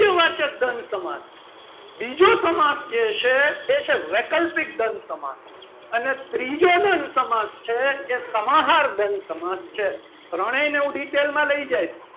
વાચક દ્રંદ સમાસ બીજો સમાસ જે છે. એ છે વૈકલ્પિક દ્વંદ સમાસ અને ત્રીજો દ્વંદ સમાસ છે. એ સમાહાર દ્વંદ સમાસ છે ત્રણેયને હું detail માં લઈ જઈશ.